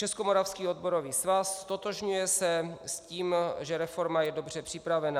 Českomoravský odborový svaz: Ztotožňuje se s tím, že reforma je dobře připravená.